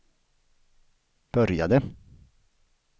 började